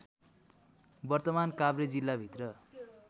वर्तमान काभ्रे जिल्लाभित्र